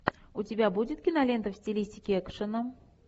у тебя будет кинолента в стилистике экшена